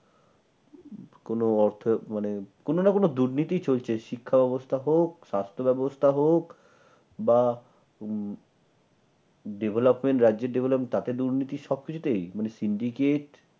কোন অর্থের মানে কোন না কোন দুর্নীতি চলছে। শিক্ষা ব্যবস্থা হোক স্বাস্থ্য ব্যবস্থা হোক বা উম Development রাজ্যের Development দুর্নীতি সবকিছুতেই মানে Syndicate